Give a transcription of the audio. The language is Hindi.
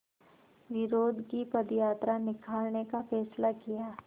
विरोध की पदयात्रा निकालने का फ़ैसला किया